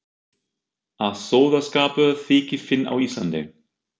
Að sóðaskapur þyki fínn á Íslandi.